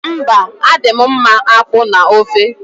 Mba, adị m mma akpu na ofe.